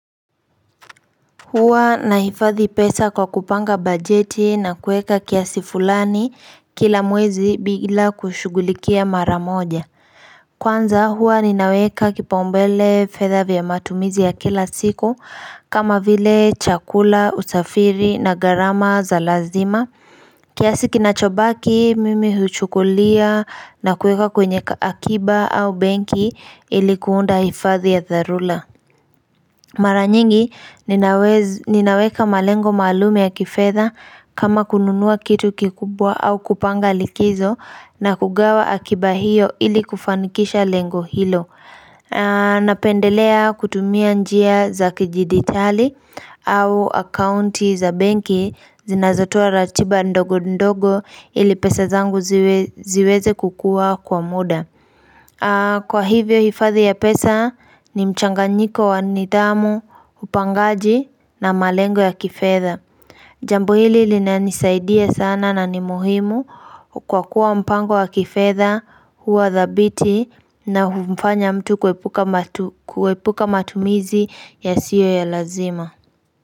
Huwa nahifadhi pesa kwa kupanga bajeti na kuweka kiasi fulani kila mwezi bila kushughulikia mara moja Kwanza huwa ninaweka kipaumbele fedha vya matumizi ya kila siku kama vile chakula, usafiri na gharama za lazima kiasi kinachobaki mimi huchukulia na kuweka kwenye akiba au benki ili kuunda hifadhi ya dharura Mara nyingi ninaweka malengo maalum ya kifedha kama kununua kitu kikubwa au kupanga likizo na kugawa akiba hiyo ili kufanikisha lengo hilo. Napendelea kutumia njia za kidijitali au akaunti za benki zinazotoa ratiba ndogo ndogo ili pesa zangu ziweze kukuwa kwa muda. Kwa hivyo hifadhi ya pesa ni mchanganyiko wa nidhamu, upangaji na malengo ya kifedha Jambo hili linanisaidia sana na ni muhimu kwa kuwa mpango wa kifedha, huwa dhabiti na humfanya mtu kuepuka matumizi yasio ya lazima.